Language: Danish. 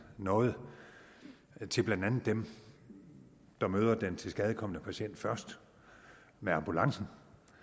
noget til blandt andet dem der møder den tilskadekomne patient først med ambulancen